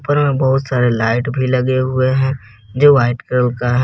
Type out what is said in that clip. ऊपर में बहुत सारे लाइट भी लगे हुए है जो वाइट कलर का है।